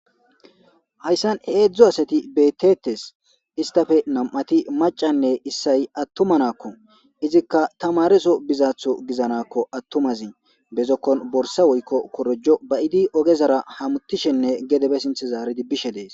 hayssan heedzdzo asati beetetes istafe nam7ati macanne issay attumanakko izikka tamareso bizaaththo gizanakko attumazi bezokkon borsa woykko korojo bayidi ogezara hamutishenne gedebe sinthe zaaridibbishe dees